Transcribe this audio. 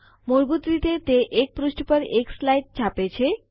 મૂળભૂત રીતે તે ૧ પૃષ્ઠ પર ૧ સ્લાઇડ છાપે છે